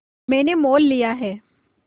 मैंने मोल लिया है